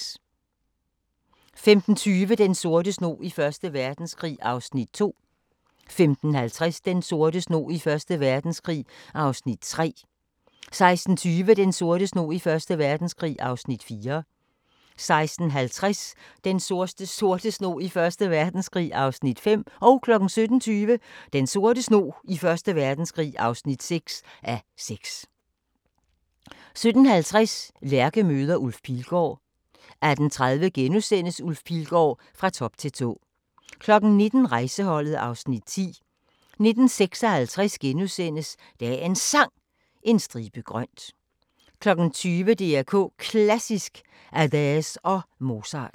15:20: Den sorte snog i Første Verdenskrig (2:6) 15:50: Den sorte snog i Første Verdenskrig (3:6) 16:20: Den sorte snog i Første Verdenskrig (4:6) 16:50: Den sorte snog i Første Verdenskrig (5:6) 17:20: Den sorte snog i Første Verdenskrig (6:6) 17:50: Lærke møder Ulf Pilgaard 18:30: Ulf Pilgaard – Fra top til tå * 19:00: Rejseholdet (Afs. 10) 19:56: Dagens Sang: En stribe grønt * 20:00: DR K Klassisk: Adès og Mozart